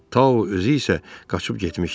Tao özü isə qaçıb getmişdi.